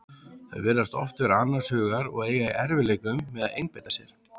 Þau virðast oft vera annars hugar og eiga í erfiðleikum með að einbeita sér.